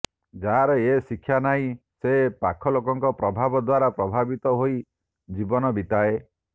ଯାହାର ଏ ଶିକ୍ଷା ନାହିଁ ସେ ପାଖଲୋକଙ୍କର ପ୍ରଭାବ ଦ୍ୱାରା ପ୍ରଭାବିତ ହୋଇ ଜୀବନ ବିତାଏ